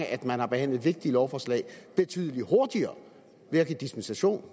at man har behandlet vigtige lovforslag betydelig hurtigere ved at give dispensation